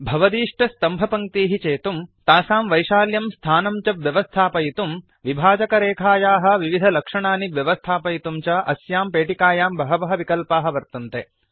भवदीष्टस्तम्भपङ्क्तीः चेतुम् तासां वैशाल्यं स्थानं च व्यवस्थापयितुम् विभाजकरेखायाः विविधलक्षणानि व्यवस्थापयितुं च अस्यां पेटिकायां बहवः विकल्पाः वर्तन्ते